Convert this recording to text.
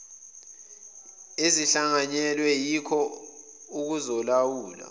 ezihlanganyelwe yiko okuzolawula